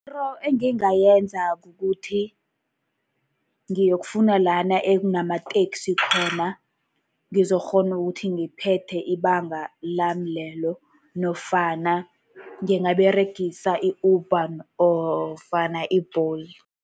Into engingayenza kukuthi ngiyokufuna lana ekunamateksi khona, ngizokukghona ukuthi ngiphethe ibanga lami lelo, nofana ngingaberegisa i-Uber nofana i-Bolt.